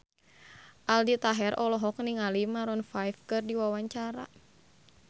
Aldi Taher olohok ningali Maroon 5 keur diwawancara